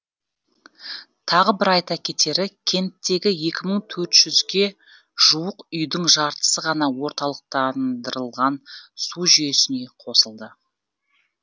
тағы бір айта кетері кенттегі екі мың тоөрт жүзге жуық үйдің жартысы ғана орталықтандырылған су жүйесіне қосылды